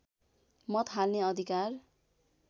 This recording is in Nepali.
मत हाल्ने अधिकार